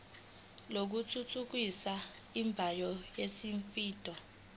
lokuthuthukisa imboni yezimoto